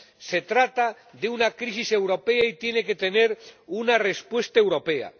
Se trata de una crisis europea, y tiene que tener una respuesta europea.